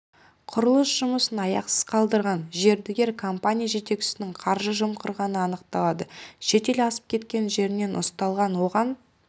құрылыс жұмысын аяқсыз қалдырған мердігер компания жетекшісінің қаржы жымқырғаны анықталады шетел асып кеткен жерінен ұсталған оған